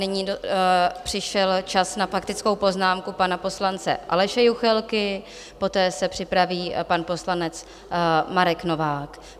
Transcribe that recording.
Nyní přišel čas na faktickou poznámku pana poslance Aleše Juchelky, poté se připraví pan poslanec Marek Novák.